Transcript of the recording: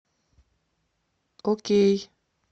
окей